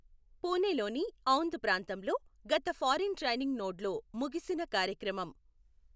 పూణేలోని ఔంధ్ ప్రాంతంలో గత foreign training నోడ్లో ముగిసిన కార్యక్రమం